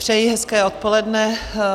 Přeji hezké odpoledne.